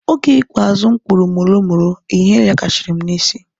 Oge ikpeazụ m kpuru molo molo ihe yakashiri m na isi